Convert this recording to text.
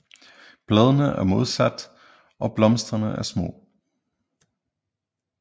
Bladene er modsatte og blomsterne er små